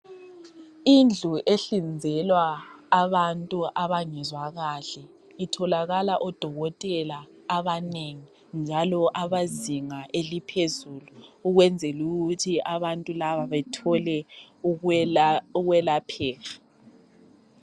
Indlu ehlinzelwa abantu abangezwa kahle itholakala odokotela abanengi njalo abezinga eliphezulu ukwenzela ukuthi abantu laba bethole ukwelapheka .